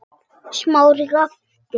Smári gapti.